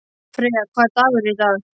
Freyja, hvaða dagur er í dag?